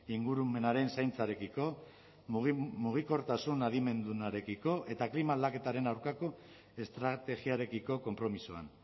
ingurumenaren zaintzarekiko mugikortasun adimendunarekiko eta klima aldaketaren aurkako estrategiarekiko konpromisoan